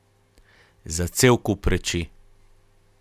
Za cel kup reči.